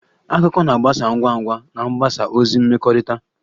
Akụkọ na-agbasa ngwa ngwa na mgbasa ozi mmekọrịta